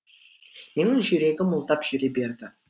менің жүрегім мұздап жүре берді